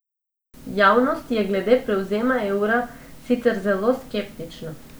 Javnost je glede prevzema evra sicer zelo skeptična.